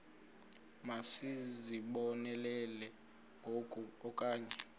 masizibonelele ngoku okanye